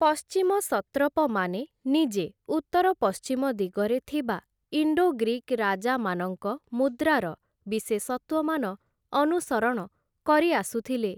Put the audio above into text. ପଶ୍ଚିମ ସତ୍ରପମାନେ ନିଜେ ଉତ୍ତର ପଶ୍ଚିମ ଦିଗରେ ଥିବା ଇଣ୍ଡୋଗ୍ରୀକ୍ ରାଜାମାନଙ୍କ ମୁଦ୍ରାର ବିଶେଷତ୍ଵମାନ ଅନୁସରଣ କରିଆସୁଥିଲେ ।